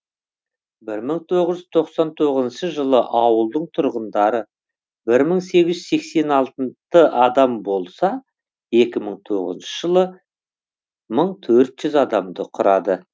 бір мың тоғыз жүз тоқсан тоғызыншы жылы ауылдың тұрғындары бір мың сегіз жүз сексен алты адам болса екі мың тоғызыншы жылы бір мың төрт жүз адамды құрады